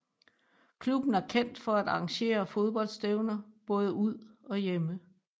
Klubben er kendt for at arrangere fodboldstævner både ud og hjemme